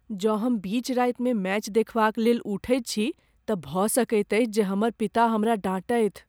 जँ हम बीच रातिमे मैच देखबाक लेल उठैत छी तँ भऽ सकैत अछि जे हमर पिता हमरा डाँटथि।